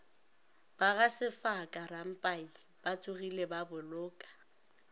ba gasefaka rampai batsogile baboloka